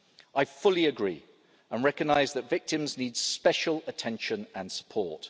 I fully agree and I recognise that victims need special attention and support.